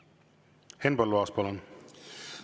Henn Põlluaas, palun!